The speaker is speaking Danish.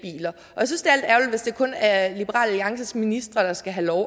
kun er liberal alliances ministre der skal have lov